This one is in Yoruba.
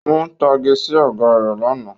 Ó ń tage sí Ọ̀gá rẹ̀ lánàá